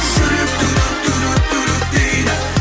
жүрек дейді